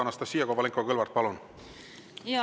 Anastassia Kovalenko-Kõlvart, palun!